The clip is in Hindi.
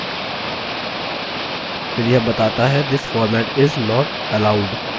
फिर यह बताता हैthis format is not allowed